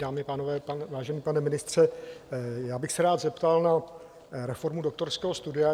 Dámy a pánové, vážený pane ministře, já bych se rád zeptal na reformu doktorského studia.